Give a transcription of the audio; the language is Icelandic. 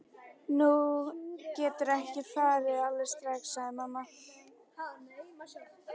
Þú getur ekki farið út alveg strax, sagði mamma.